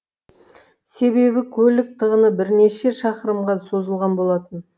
себебі көлік тығыны бірнеше шақырымға созылған болатын